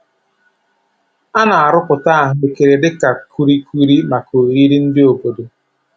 A na-arụpụta ahụ ekere dịka kulikuli maka oriri ndị obodo.